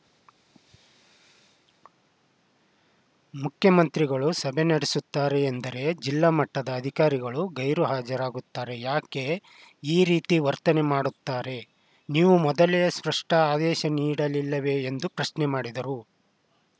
ಮುಖ್ಯಮಂತ್ರಿಗಳು ಸಭೆ ನಡೆಸುತ್ತಾರೆ ಎಂದರೆ ಜಿಲ್ಲಾ ಮಟ್ಟದ ಅಧಿಕಾರಿಗಳು ಗೈರು ಹಾಜರಾಗುತ್ತಾರೆ ಯಾಕೆ ಈ ರೀತಿ ವರ್ತನೆ ಮಾಡುತ್ತಾರೆ ನೀವು ಮೊದಲೇ ಸ್ಪಷ್ಟಆದೇಶ ನೀಡಿರಲಿಲ್ಲವೇ ಎಂದು ಪ್ರಶ್ನೆ ಮಾಡಿದರು